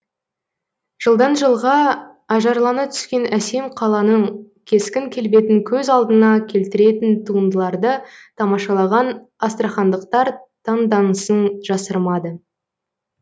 жылдан жылға ажарлана түскен әсем қаланың кескін келбетін көз алдыңа келтіретін туындыларды тамашалаған астрахандықтар таңданысын жасырмады